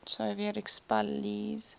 soviet expellees